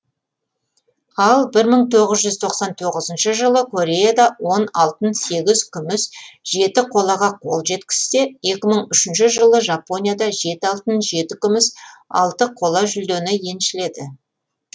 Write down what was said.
ал бір мың тоғыз жүз тоқсан тоғызыншы жылы кореяда он алтын сегіз күміс жеті қолаға қол жеткізсе екі мың үшінші жылы жапонияда жеті алтын жеті күміс алты қола жүлдені еншіледі